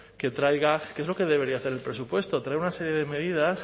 que traiga que es lo que debería hacer el presupuesto traer una serie de medidas